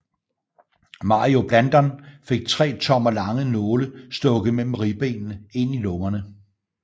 Mario Blandon fik tre tommer lange nåle stukket mellem ribbenene ind i lungerne